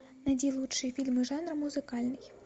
найди лучшие фильмы жанра музыкальный